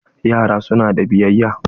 Yaran su na da biyayya.